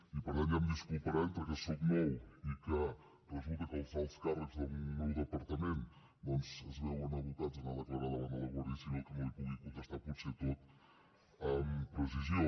i per tant ja em disculparà entre que soc nou i que resulta que els alts càrrecs del meu departament es veuen abocats a anar a declarar davant de la guàrdia civil que no li pugui contestar potser a tot amb precisió